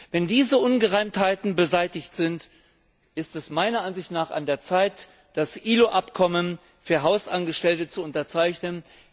Wenn diese Ungereimtheiten beseitigt sind, ist es meiner Ansicht nach an der Zeit, das ILO Abkommen für Hausangestellte zu unterzeichnen!